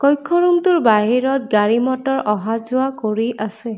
কক্ষ ৰূম টোৰ বাহিৰত গাড়ী মটৰ অহা যোৱা কৰি আছে।